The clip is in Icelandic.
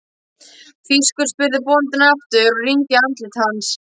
Þýskur? spurði bóndinn aftur og rýndi í andlit hans.